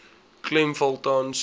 klem val tans